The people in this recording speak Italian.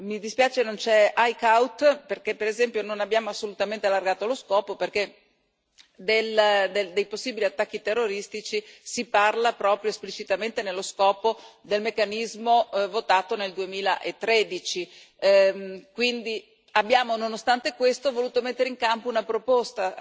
Mi dispiace che non ci sia Eickhout, perché per esempio non abbiamo assolutamente allargato lo scopo dei possibili attacchi terroristici, si parla proprio esplicitamente nello scopo del meccanismo votato nel 2013, quindi abbiamo, nonostante questo, voluto mettere in campo una proposta